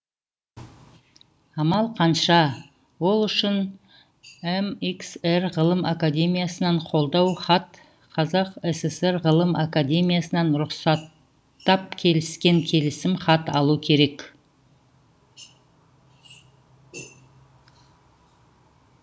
амал қанша ол үшін эмиксэр ғылым академиясынан қолдау хат қазақ сср ғылым академиясынан рұқсаттап келіскен келісімхат алу керек